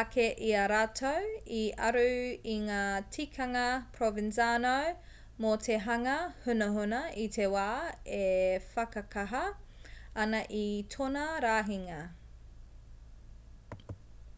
ake i a rātou i aru i ngā tikanga provenzano mō te hanga hunahuna i te wā e whakakaha ana i tōna rahinga